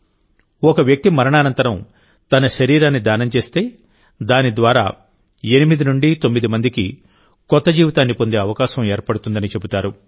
ఒక వ్యక్తి మరణానంతరం తన శరీరాన్ని దానం చేస్తే దాని ద్వారా8 నుండి 9 మందికి కొత్త జీవితాన్ని పొందే అవకాశం ఏర్పడుతుందని చెబుతారు